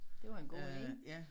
Det var en god ide